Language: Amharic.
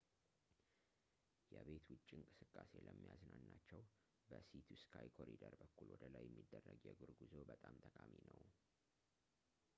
የቤት ውጭ እንቅስቃሴ ለሚያዝናናቸው፣ በsea to sky ኮሪደር በኩል ወደላይ የሚደረግ የእግር ጉዞ በጣም ጠቃሚ ነው